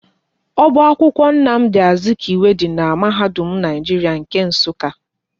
Oba akwụkwọ Nnamdi Azikwe dị n'mahadum Naijiria nke Nsukka